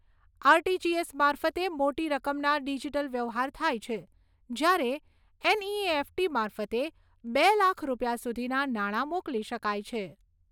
RTGS મારફતે મોટી રકમના ડીજીટલ વ્યવહાર થાય છે, જ્યારે એનઈએફટી મારફતે બે લાખ રૂપિયા સુધીના નાણા મોકલી શકાય છે.